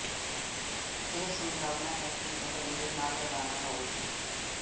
ਇਹ ਸੰਭਾਵਨਾ ਹੈ ਕਿ ਉਹ ਦੇਰ ਨਾਲ ਰਵਾਨਾ ਹੋਵੇਗੀ